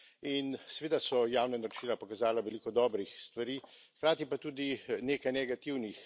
In seveda so javna naročila pokazala veliko dobrih stvari, hkrati pa tudi nekaj negativnih.